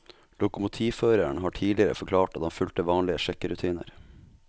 Lokomotivføreren har tidligere forklart at han fulgte vanlige sjekkerutiner.